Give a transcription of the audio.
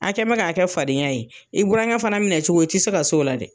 A kɛ mɛ k'a kɛ fadenya ye, i burankɛ fana minɛ cogo ti se ka s'o la dɛ